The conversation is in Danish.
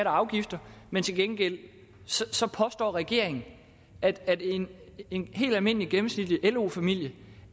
og afgifter men til gengæld påstår regeringen at en en helt almindelig gennemsnitlig lo familie